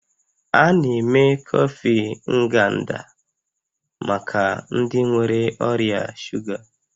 A na-eme kọfị Nganda maka ndị nwere ọrịa shuga